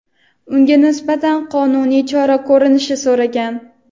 unga nisbatan qonuniy chora ko‘rishni so‘ragan.